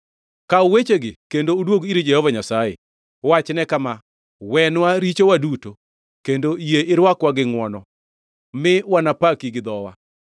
Kaw wechegi kendo uduog ir Jehova Nyasaye! Wachne kama: “Wenwa richowa duto, kendo yie irwakwa gi ngʼwono, mi wanapaki gi dhowa.